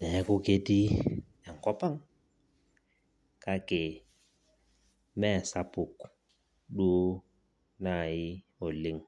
Neaku ketii enkop ang' kake mee sapuk duo naaji oleng'.